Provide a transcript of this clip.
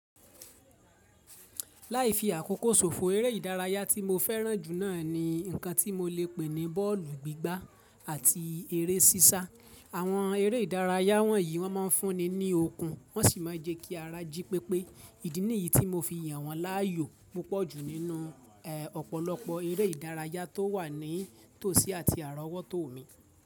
Láì fi àkókò ṣòfò, eré ìdárayá tí mo fẹ́ràn jù náà ni nkan tí mo lè pè ní bọ́ọ̀lù gbígbá àti eré sísá. Àwọn eré ìdárayá wọ̀nyí, wọ́n máa ń fúnni ní okun, wọ́n sì máa ń jẹ́ kí ara jí pépé. Ìdí nìyí tí mo fi yàn wọ́n láàyò púpọ̀ jù nínú ọ̀pọ̀lọpọ̀ eré ìdárayá tó wà ní tòsí àti àrà ọwọ́ tò mí.